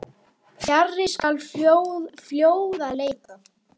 Fjarri skal fljóða leita.